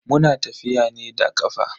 Muna tafiya ne da kafa.